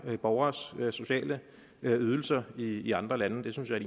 borgeres sociale ydelser i andre lande det synes jeg